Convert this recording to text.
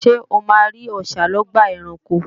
Ṣé o máa rí Ọṣà lọ́gbà ẹranko?